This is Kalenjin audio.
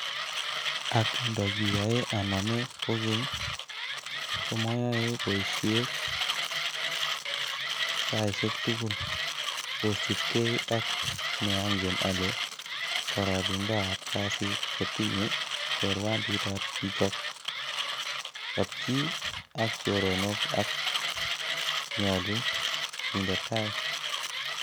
Ak ndo kioyoe anome kokeny, komoyoe boisiek saisiek tugul, kosiibge ak neongen ale kororonindab kasit ko tinye chorwanditab chichok, kapchii ak choronok ak nyolu kinde tai.